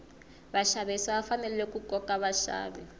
vaxavisi va fanele ku koka vaxavi